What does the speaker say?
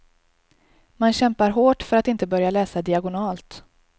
Man kämpar hårt för att inte börja läsa diagonalt.